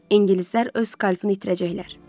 İngilislər öz skapini itirəcəklər.